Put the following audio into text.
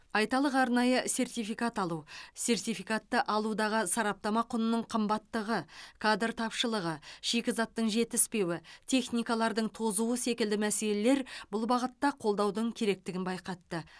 айталық арнайы сертификат алу сертификаты алудағы сараптама құнының қымбаттығы кадр тапшылығы шикізаттың жетіспеуі техникалардың тозуы секілді мәселелер бұл бағытта қолдаудың керектігін байқатты